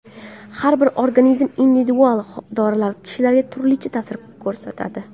Har bir organizm individual, dorilar kishilarga turlicha ta’sir ko‘rsatadi.